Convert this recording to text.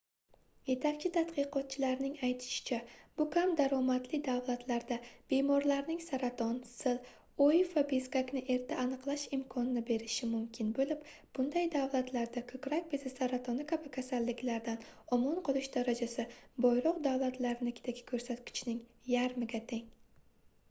yetakchi tadqiqotchilarning aytishicha bu kam daromadli davlatlarda bemorlarning saraton sil oiv va bezgakni erta aniqlash imkonini berishi mumkin boʻlib bunday davlatlarda koʻkrak bezi saratoni kabi kasalliklardan omon qolish darajasi boyroq davlatlardagi koʻrsatkichning yarmiga teng